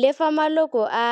Le fa maloko a